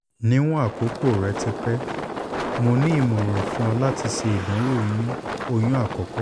niwon akoko rẹ ti pẹ mo ni imọran fun ọ lati ṣe idanwo oyun oyun akọkọ